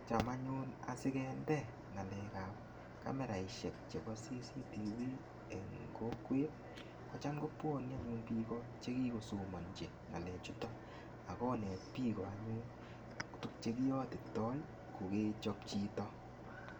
Cham anyun asigende ngalekab kameraisiek chebo CCTV, eng kokwet kocham kobwane anyun biik o che kigosomanji ngalechuto agonet biik o anyun tuk che kiyotitoi kogechop chito.